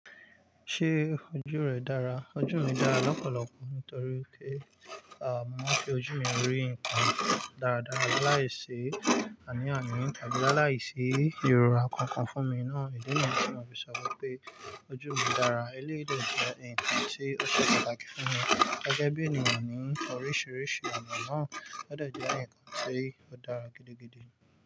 Ṣé ojú rẹ dára? Ojú mi dára lọ́pọ̀lọpọ̀ nítorí pé, mo máa fi ojú mi rí nǹkan dáradára láìsí ànì àni, àbí láìsí ìrora kankan fún mi náà. Ìdí niyen tí mo fi sọ wípé ojú mi dára eléyi dè jẹ́ nnkan tí ó ṣe pàtàkì fún mi gẹ́gẹ́ bí ènìyàn ní oríṣiríṣi ọnà náà. Ó de je nnkan tí ó dára gidigidi.